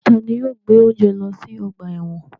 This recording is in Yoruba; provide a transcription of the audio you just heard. Tani yóò gbe ounje lọ si ọgba ẹ́wọ̀n?